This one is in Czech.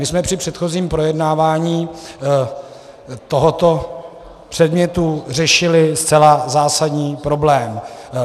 My jsme při předchozím projednávání tohoto předmětu řešili zcela zásadní problém.